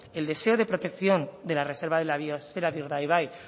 el deseo de protección de la reserva de la biosfera de urdaibai